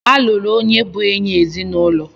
A lụrụ onye bụ enyị ezinụlọ.